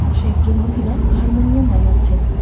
সে একজন মহিলা হারমোনিয়াম বাজাচ্ছেন।